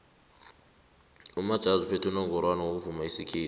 umajazi uthumbe unongorwana ngokuvuma isikhethu